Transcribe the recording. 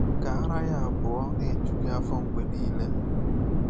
Ka ara ya abụọ na-eju gị afọ mgbe niile.”